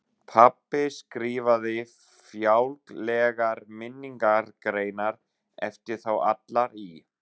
Pabbi skrifaði fjálglegar minningargreinar eftir þá alla í